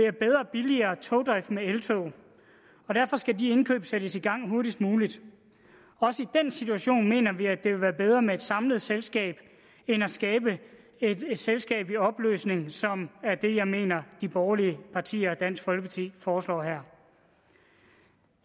billigere togdrift med eltog og derfor skal de indkøb sættes i gang hurtigst muligt også i den situation mener vi at det vil være bedre med et samlet selskab end at skabe et selskab i opløsning som er det jeg mener de borgerlige partier og dansk folkeparti foreslår her